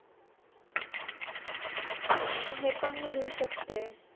हे पण मी लिहू शकते